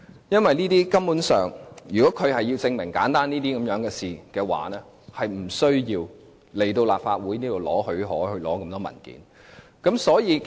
如果律政司要證明如此簡單的事情，是無須向立法會申請許可，索取這麼多文件的。